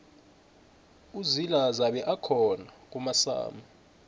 uzila zabe akhona kumasama